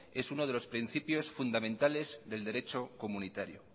es uno de los principios fundamentales del derecho comunitario